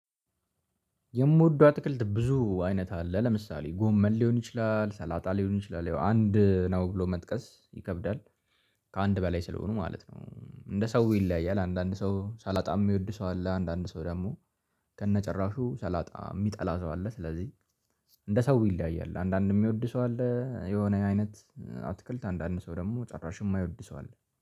የምወደው አትክልት ብዙ አይነት አለ ለምሳሌ ጎመን ሊሆን ይችላል ሰላጣ ሊሆን ይችላል ያው አንድ ነው ብሎ መጥቀስ ይከብዳል። ከአንድ በላይ ስለሆኑ ማለት ነው እንደ ሰው ይለያያል አንዳንድ ሰው ሰላጣም የሚወድ ሰው አለ አንዳንድ ሰው ደግሞ ከነጭራሹ ሳላጣ የሚጠላ ሰው አለ። ስለዚህ እንደ ሰው ይለያያል። አንዳንድም የሚወድ ሰው አለ የሆነ አይነት አትክልት አንዳንድ ሰው ደግሞ ጭራሽም የማይወድ ሰው አለ